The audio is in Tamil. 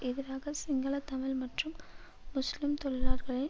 எதிராக சிங்கள தமிழ் மற்றும் முஸ்லிம் தொழிலார்களை